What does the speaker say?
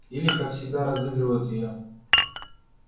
или как всегда разыгрывают её